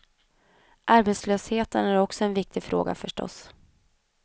Arbetslösheten är också en viktig fråga förstås.